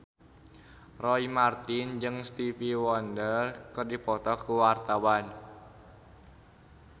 Roy Marten jeung Stevie Wonder keur dipoto ku wartawan